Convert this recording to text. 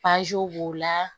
b'o la